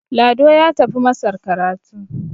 Lado ya tafi masar karatu